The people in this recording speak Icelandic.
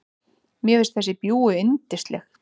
Mér finnst þessi bjúgu yndisleg.